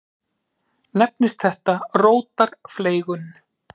Nefnist þetta rótarfleygun.